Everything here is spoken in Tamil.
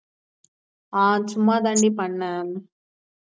ஆஹ் சும்மாதாண்டி பன்னேன்